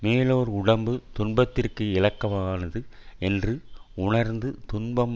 மேலோர் உடம்பு துன்பத்திற்கு இலக்கமானது என்று உணர்ந்து துன்பம்